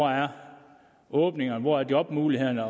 åbningerne er hvor jobmulighederne